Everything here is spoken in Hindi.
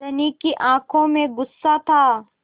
धनी की आँखों में गुस्सा था